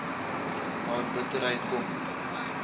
haar bitterheid kom